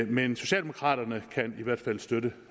men socialdemokraterne kan i hvert fald støtte